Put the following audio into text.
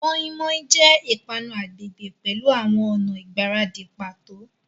Moninmonin jẹ ipanu agbegbe pẹlu awọn ọna igbaradi pato.